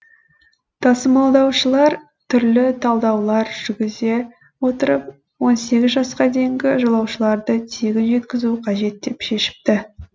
тасымалдаушылар түрлі талдаулар жүргізе отырып он сегіз жасқа дейінгі жолаушыларды тегін жеткізу қажет деп шешіпті